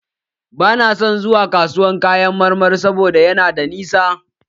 Bana son zuwa kasuwan kayan marmari sabo da yana da nisa.